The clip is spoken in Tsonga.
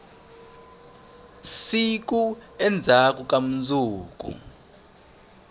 siku endzhaku ka mundzuku